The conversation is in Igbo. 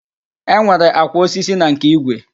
Enwere àkwà osisi na nke igwe